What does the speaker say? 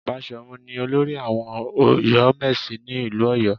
Baṣọ̀run ni olórí àwọn Ọ̀yọ́mèsì ní ìlú Ọ̀yọ́